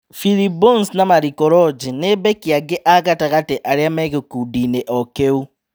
PHilip Bones na Mariko Roji ni mbeki angĩ a-gatagatĩ arĩa megĩkundiinĩ o-kĩu.